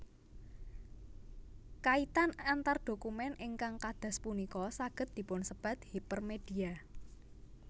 Kaitan antar dokumen ingkang kadas punika saged dipunsebat hipermedia